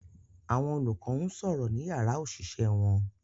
Àwọn olùkọ́ ń sọ̀rọ̀ ní yàrá òṣìṣẹ́ wọn